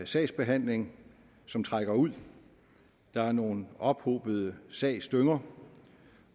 sagsbehandling som trækker ud der er nogle ophobede sagsdynger